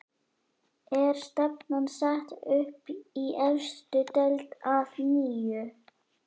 Er stefnan sett upp í efstu deild að nýju?